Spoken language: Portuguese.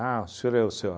o senhor é o seu